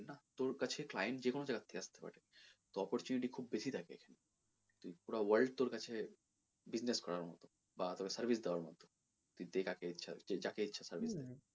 তোর কাছে client যেকোনো জায়গার থেকে আসতে পারে opportunity খুব বেশি থাকে পুরা world তোর কাছে business করার মতো বা তোকে service দেওয়ার মতো তুই যাকে ইচ্ছা service দে।